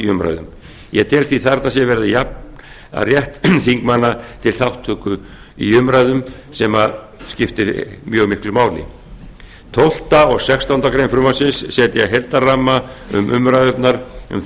umræðum ég tel því að þarna sé verið að jafna rétt þingmanna til þátttöku í umræðum sem skiptir mjög miklu máli tólfta og sextándu grein frumvarpsins setja heildarramma um umræðurnar um